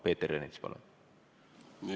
Peeter Ernits, palun!